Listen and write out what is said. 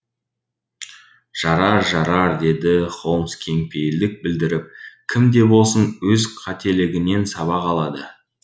жарар жарар деді холмс кең пейілдік білдіріп кім де болсын өз қателігінен сабақ алады